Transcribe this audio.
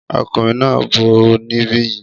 Ọkùnrin náà ń bọ̀ níbi yìí